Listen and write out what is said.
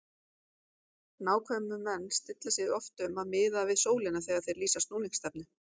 Nákvæmir menn stilla sig því oft um að miða við sólina þegar þeir lýsa snúningsstefnu.